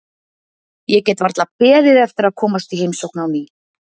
Ég get varla beðið eftir að komast í heimsókn á ný.